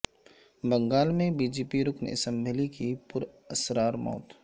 بنگال میں B J P رکن assembly کی پراسرار موت